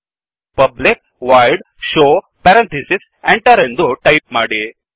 public void show public void show parenthesis enter ಎಂದು type ಮಾಡಿ